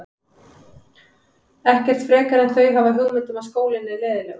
Ekkert frekar en þau hafa hugmynd um að skólinn er leiðinlegur.